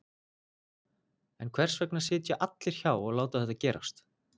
En hvers vegna sitja allir hjá og láta þetta gerast?